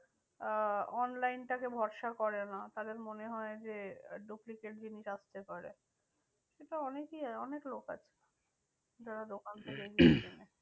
আহ online টাকে ভরসা করে না। তাদের মনে হয় যে duplicate জিনিস আসতে পারে। এটা অনেকেই অনেক লোক আছে যারা দোকান থেকে কেনে।